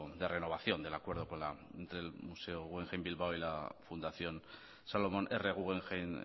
de renovación del acuerdo con la entre el museo guggemhein bilbao y la fundación salomon r guggemhein